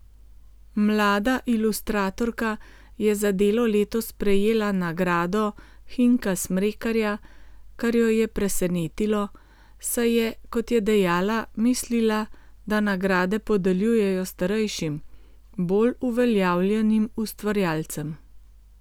Mlada ilustratorka je za delo letos prejela nagrado Hinka Smrekarja, kar jo je presenetilo, saj je, kot je dejala, mislila, da nagrade podeljujejo starejšim, bolj uveljavljenim ustvarjalcem.